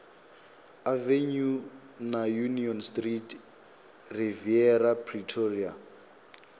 avenue na union street riviera pretoria